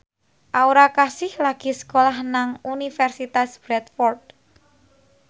Aura Kasih lagi sekolah nang Universitas Bradford